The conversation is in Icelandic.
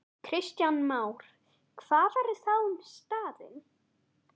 Kristján Már: Hvað verður þá um staðinn?